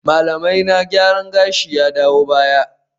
Malamaina gyaran gashi ya dawo baya